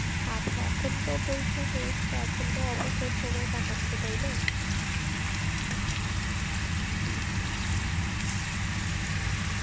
আচ্ছা এখন তো পরীক্ষা শেষ তা এখন তো অবসর সময় কাটাচ্ছো তাই না?